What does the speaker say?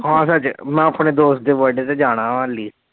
ਹਾਂ ਸਾਡੇ ਮੈਂ ਆਪਣੇ ਦੋਸਤ ਦੇ birthday ਤੇ ਜਾਣਾ ਮੁਹਾਲੀ